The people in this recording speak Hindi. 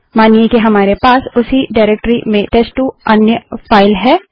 मानिए कि हमारे पास उसी डाइरेक्टरी में टेस्ट2 अन्य फाइल है